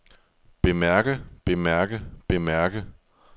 bemærke bemærke bemærke